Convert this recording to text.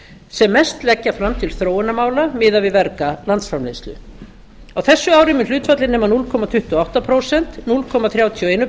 sem mest leggja fram til þróunarmála miðað við verga landsframleiðslu á þessu ári mun hlutfallið nema núll komma tuttugu og átta prósent núll komma þrjátíu og eitt